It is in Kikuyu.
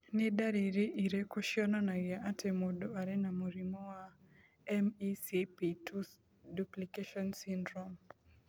Nĩ ndariri irĩkũ cionanagia atĩ mũndũ arĩ na mũrimũ wa MECP2 duplication syndrome?